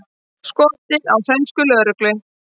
Skotið á sænska lögreglu